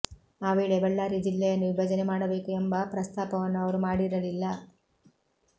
ಆ ವೇಳೆ ಬಳ್ಳಾರಿ ಜಿಲ್ಲೆಯನ್ನು ವಿಭಜನೆ ಮಾಡಬೇಕು ಎಂಬ ಪ್ರಸ್ತಾಪವನ್ನು ಅವರು ಮಾಡಿರಲಿಲ್ಲ